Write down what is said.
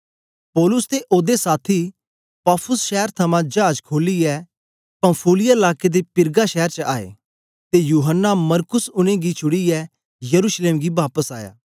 पौलुस ते ओदे साथी पाफुस शैर थमां जाज खोलियै पंफूलिया लाके दे पिरगा शैर च आए ते यूहन्ना मरकुस उनेंगी छुड़ीयै यरूशलेम गी बापस आया